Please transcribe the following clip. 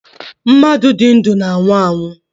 Mmadụ di ndu na-anwụ anwụ